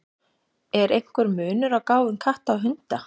Er einhver munur á gáfum katta og hunda?